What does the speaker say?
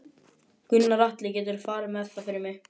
Gunnar Atli: Geturðu farið með það fyrir mig?